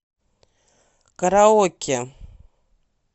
караоке